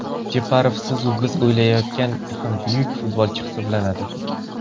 Jeparov siz-u biz o‘ylagandan ham buyuk futbolchi hisoblanadi.